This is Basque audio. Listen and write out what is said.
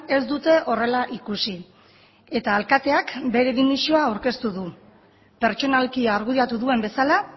ez dute horrela ikusi eta alkateak bere dimisioa aurkeztu du pertsonalki argudiatu duen bezala